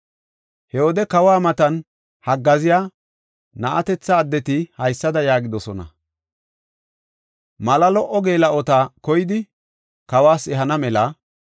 He wode kawa matan haggaaziya na7atethata addeti haysada yaagidosona; “Mala lo77o geela7ota koyidi, kawas ehana mela,